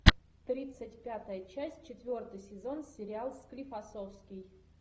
тридцать пятая часть четвертый сезон сериал склифосовский